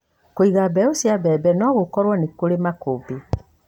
Kũiga mbeũ cia mbembe no gũkorwo nĩ kũrĩ makũmbĩ